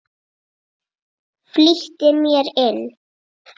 Flýtti mér inn.